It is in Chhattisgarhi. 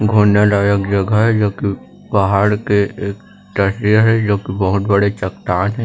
घूमने लायक जगह हे जो की एक पहाड़ के एक तस्वीर हे जो की बहोत बड़े चट्टान हे।